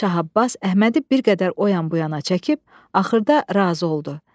Şah Abbas Əhmədi bir qədər o yan bu yana çəkib axırda razı oldu.